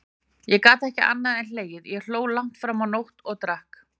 Ég gat ekki annað en hlegið, ég hló langt fram á nótt, og drakk.